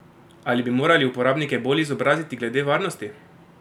Ali bi morali uporabnike bolj izobraziti glede varnosti?